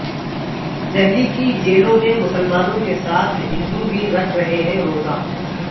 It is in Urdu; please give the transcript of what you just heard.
دہلی کی جیلوں میں مسلمانوں کے ساتھ ہندو بھی رکھ رہے ہیں روزہ